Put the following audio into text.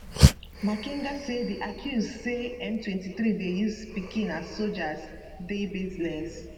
makenga say di accuse say m23 dey use pikin as sojas dey baseless